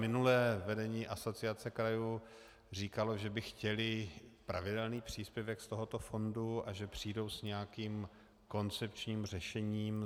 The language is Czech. Minulé vedení Asociace krajů říkalo, že by chtěli pravidelný příspěvek z tohoto fondu a že přijdou s nějakým koncepčním řešením.